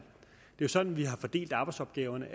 det jo er sådan vi har fordelt arbejdsopgaverne